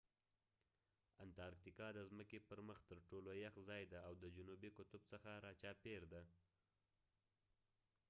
انتراکتیکا د ځمکې پر مخ تر ټولو یخ ځای دی او د جنوبي قطب څخه را چاپیر دی